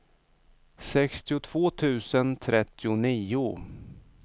sextiotvå tusen trettionio